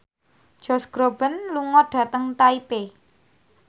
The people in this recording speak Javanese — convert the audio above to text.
Josh Groban lunga dhateng Taipei